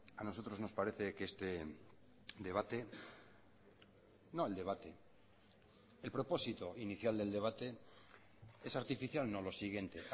a nosotros nos parece que este debate no el debate el propósito inicial del debate es artificial no lo siguiente